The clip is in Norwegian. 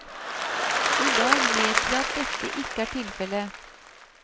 I dag vet vi at dette ikke er tilfelle.